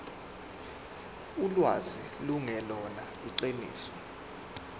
ulwazi lungelona iqiniso